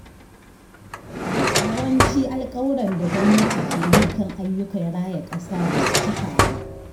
Yawancin alkawuran da gwamnati ke yi kan ayyukan raya ƙasa ba su cika ba.